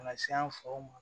Ka na se an faw ma